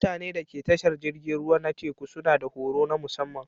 Mutanen da ke tashar jiragen ruwa na teku suna da horo na musamma